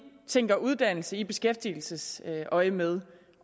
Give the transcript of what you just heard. tænker uddannelse i beskæftigelsesøjemed